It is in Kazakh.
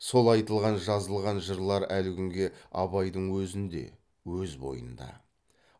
сол айтылған жазылған жырлар әлі күнге абайдың өзінде өз бойында